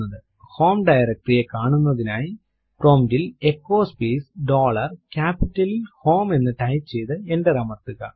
home directory കാണുന്നതിനായി prompt ൽ echo space dollar ക്യാപിറ്റലിൽ ഹോം എന്ന് ടൈപ്പ് ചെയ്തു എന്റർ അമർത്തുക